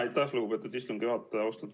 Aitäh, lugupeetud istungi juhataja!